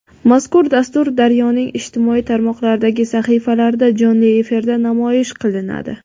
Mazkur dastur "Daryo"ning ijtimoiy tarmoqlardagi sahifalarida jonli efirda namoyish qilinadi.